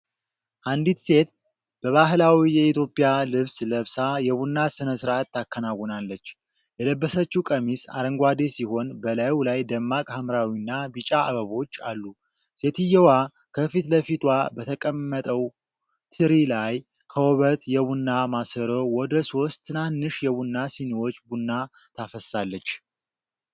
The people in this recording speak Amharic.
አንዲት ሴት በባህላዊ የኢትዮጵያ ልብስ ለብሳ የቡና ሥነ-ሥርዓት ታከናውናለች። የለበሰችው ቀሚስ አረንጓዴ ሲሆን፣ በላዩ ላይ ደማቅ ሐምራዊና ቢጫ አበቦች አሉ። ሴትየዋ ከፊት ለፊቷ በተቀመጠው ትሪ ላይ ከውበት የቡና ማሰሮ ወደ ሦስት ትናንሽ የቡና ሲኒዎች ቡና ታፈሳለች።